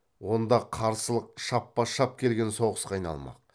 онда қарсылық шаппа шап келген соғысқа айналмақ